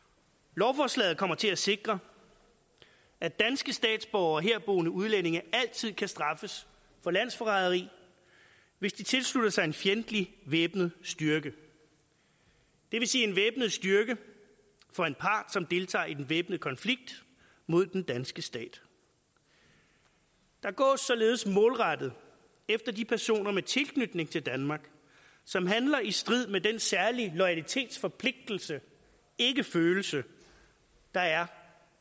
lovforslaget kommer til at sikre at danske statsborgere og herboende udlændinge altid kan straffes for landsforræderi hvis de tilslutter sig en fjendtlig væbnet styrke det vil sige en væbnet styrke for en part som deltager i den væbnede konflikt mod den danske stat der gås således målrettet efter de personer med tilknytning til danmark som handler i strid med den særlige loyalitetsforpligtelse ikke følelse der er